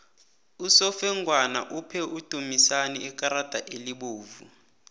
usofengwana uphe udumisani ikarada elibovu